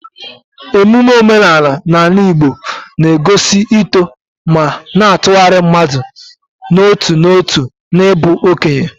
Emume omenala n'ala Igbo na-egosi uto ma na-atụgharị mmadụ n'otu n'otu n'ịbụ okenye.